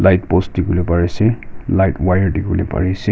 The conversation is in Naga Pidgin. light post dikipolae pari asae light wire dikhibole pari ase.